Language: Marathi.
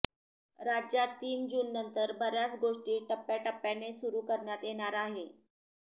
राज्यात तीन जूननंतर बऱ्याच गोष्टी टप्याटप्याने सुरु करण्यात येणार आहे